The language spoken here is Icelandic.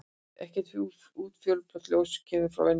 Ekkert útfjólublátt ljós kemur frá venjulegum eldi.